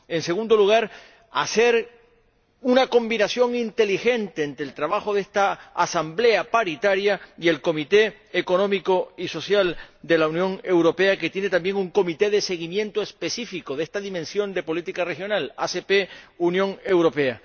en segundo lugar, hacer una combinación inteligente entre el trabajo de esta Asamblea Paritaria y el Comité Económico y Social de la Unión Europea, que tiene también un comité de seguimiento específico de esta dimensión de la política regional ACP UE.